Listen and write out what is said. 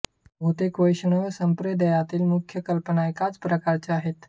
बहुतेक वैष्णव संप्रदायतील मुख्य कल्पना एकाच प्रकारचे आहेत